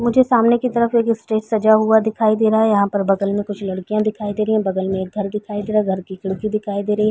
मुझे सामने की तरफ एक स्टेज सजा हुआ दिखाई दे रहा है। यहाँ पर बगल में कुछ लड़किया दिखाई रही है। बगल में एक घर दिखाई दे रहा है। घर की खिड़की दिखाई रही है।